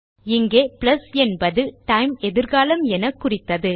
இங்கே பிளஸ் என்பது டைம் எதிர்காலம் என குறித்தது